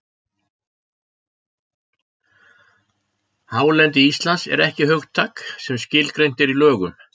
Hálendi Íslands er ekki hugtak sem skilgreint er í lögum.